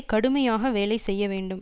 கடுமையாக வேலை செய்ய வேண்டும்